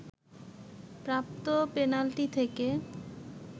প্রাপ্ত পেনাল্টি থেকে